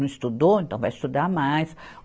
Não estudou, então vai estudar mais.